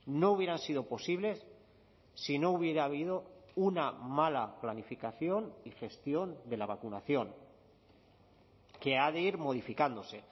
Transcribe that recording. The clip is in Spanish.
no hubieran sido posibles si no hubiera habido una mala planificación y gestión de la vacunación que ha de ir modificándose